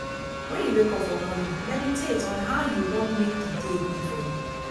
when you wake up for morning meditate on how you won make di day be for you